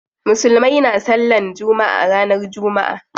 Musulmai na sallan jumma'a ranar jumma'a.